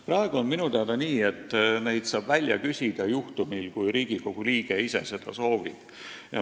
Praegu on minu teada nii, et neid väljavõtteid saab küsida, kui Riigikogu liige seda soovib.